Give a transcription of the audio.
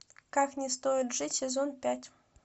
как не стоит жить сезон пять